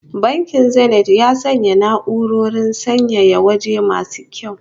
Bankin Zenith ya sanya na'urorin sanyaya waje masu kyau